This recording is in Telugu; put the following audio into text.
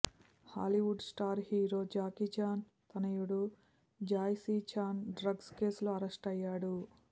Hollywood star hero Jackie Chan తనయుడు జాయ్ సీ చాన్ డ్రగ్స్ కేసులో అరెస్టు అయ్యాడు